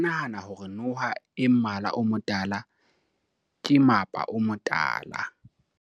batho ba bangata ba nahana hore noha e mmala o motala ke mapa o motala